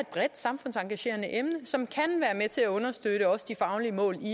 bredt samfundsengagerende emne som kan være med til at understøtte også de faglige mål i